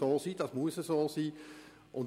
Das soll und muss so sein.